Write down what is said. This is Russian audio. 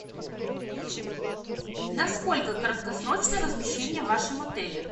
насколько краткосрочно размещение в вашем отеле